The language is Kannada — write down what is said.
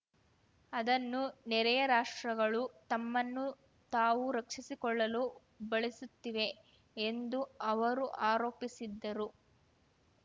ಅದನ್ನು ನೆರೆಯ ರಾಷ್ಟ್ರಗಳು ತಮ್ಮನ್ನು ತಾವು ರಕ್ಷಿಸಿಕೊಳ್ಳಲು ಬಳಸುತ್ತಿವೆ ಎಂದೂ ಅವರು ಆರೋಪಿಸಿದ್ದರು